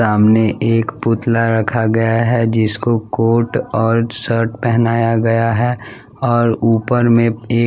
सामने एक पुतला रखा गया है जिसको कोट और शर्ट पहनाया गया है और ऊपर में एक --